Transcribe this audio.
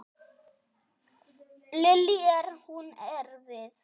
Lillý: Er hún erfið?